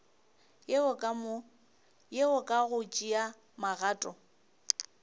yeo ka go tšea magato